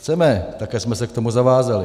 Chceme, také jsme se k tomu zavázali.